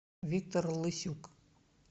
виктор лысюк